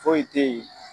Foyi te yen